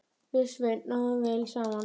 Við Sveinn náðum vel saman.